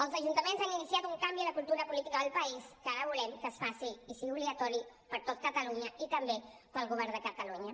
els ajuntaments han iniciat un canvi en la cultura política del país que ara volem que es faci i sigui obligatori per tot catalunya i també per al govern de catalunya